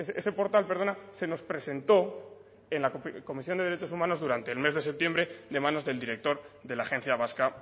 ese portal perdona se nos presentó en la comisión de derechos humanos durante el mes de septiembre de manos del director de la agencia vasca